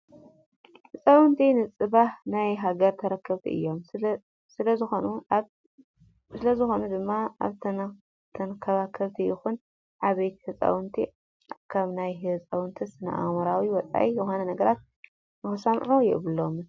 ህፃውንቲ ንፅባህ ናይ ሃገር ተረከብቲ እዮም። ስለ ዝኾነ ድማ ኣብ ተንከባከብቲ ይኹን ኣዕበይቲ ህፃውንቲ ካብ ናይ ህፃውንቲ ስነ ኣእምሮኦም ወፃኢ ዝኾኑ ነገራት ንክሰምዑ የብሎምን።